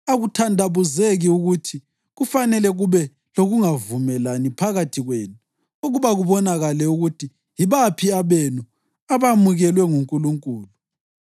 Akuthandabuzeki ukuthi kufanele kube lokungavumelani phakathi kwenu ukuba kubonakale ukuthi yibaphi abenu abamukelwe nguNkulunkulu.